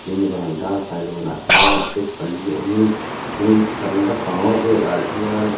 in varanda kawilawnah hian step pali awmin tin varanda bang vêlah hian--